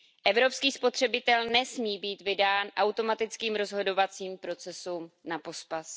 Evropský spotřebitel nesmí být vydán automatickým rozhodovacím procesům na pospas.